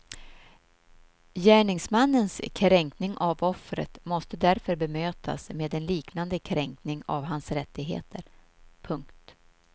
Gärningsmannens kränkning av offret måste därför bemötas med en liknande kränkning av hans rättigheter. punkt